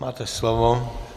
Máte slovo.